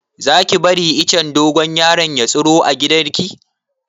Za ki bari icen dogon yaro ya tsiro a gidan ki?